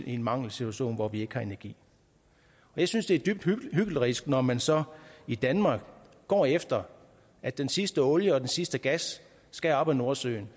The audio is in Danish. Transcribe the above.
en mangelsituation hvor vi ikke har energi jeg synes det er dybt hyklerisk når man så i danmark går efter at den sidste olie og den sidste gas skal op af nordsøen